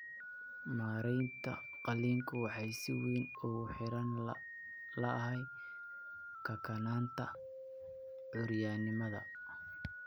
Maareynta qalliinku waxay si weyn ugu xiran tahay kakanaanta curyaanimada.